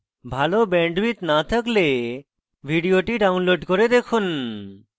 ভাল bandwidth না থাকলে ভিডিওটি download করে দেখুন